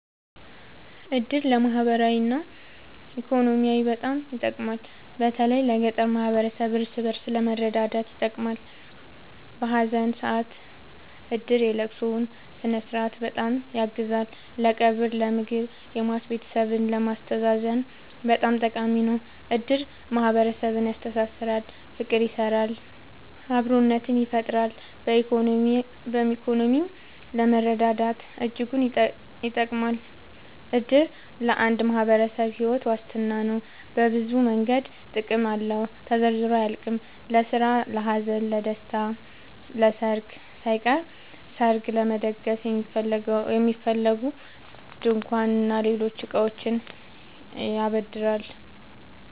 እድር ለማህበራዊ እና ኢኮኖሚያዊ በጣም ይጠቅማል። በተለይ ለገጠር ማህበረሰብ እርስ በእርስ ለመረዳዳት ይጠቅማል። በሀዘን ሰአት እድር የለቅሶውን ስነስርዓት በጣም ያግዛል ለቀብር ለምግብ የሟች ቤተሰብን ለማስተዛዘን በጣም ጠቃሚ ነው። እድር ማህረሰብን ያስተሳስራል። ፍቅር ይሰራል አብሮነትን ይፈጥራል። በኢኮኖሚም ለመረዳዳት እጅጉን ይጠብማል። እድር ለአንድ ማህበረሰብ ሒወት ዋስትና ነው። በብዙ መንገድ ጥቅም አለው ተዘርዝሮ አያልቅም። ለስራ ለሀዘን ለደሰታ። ለሰርግ ሳይቀር ሰርግ ለመደገስ የሚያስፈልጉ ድንኳን እና ሌሎች እቃዎችን ያበድራል